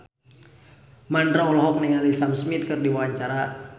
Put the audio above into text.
Mandra olohok ningali Sam Smith keur diwawancara